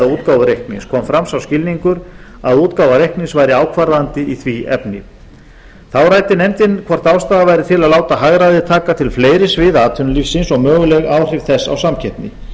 útgáfu reiknings kom fram sá skilningur að útgáfa reiknings væri ákvarðandi í því efni þá ræddi nefndin hvort ástæða væri til að láta hagræðið taka til fleiri sviða atvinnulífsins og möguleg áhrif þess á samkeppni